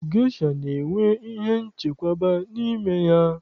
Gesha na-enwe ihe nchekwaba n'ime ya.